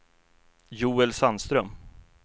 Joel Sandström